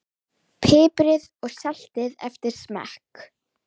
Piprið og saltið eftir smekk.